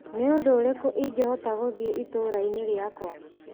Nĩ ũndũ ũrĩkũ ingĩhota gũthiĩ itũra-inĩ rĩakwa ?